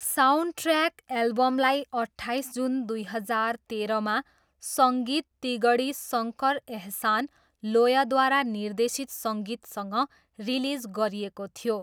Soundtrack एल्बमलाई अट्ठाइस June दुई हजार तेह्रमा सङ्गीत तिगडी शङ्कर एहसान लोयद्वारा निर्देशित सङ्गीतसँग रिलिज गरिएको थियो।